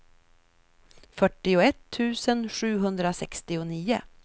fyrtioett tusen sjuhundrasextionio